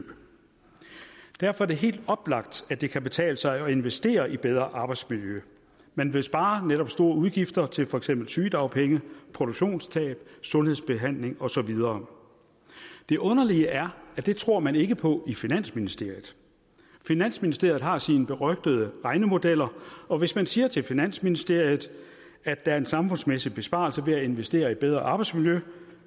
derfor er det helt oplagt at det kan betale sig at investere i bedre arbejdsmiljø man ville spare netop store udgifter til for eksempel sygedagpenge produktionstab sundhedsbehandling og så videre det underlige er at det tror man ikke på i finansministeriet finansministeriet har sine berygtede regnemodeller og hvis man siger til finansministeriet at der er en samfundsmæssig besparelse ved at investere i bedre arbejdsmiljø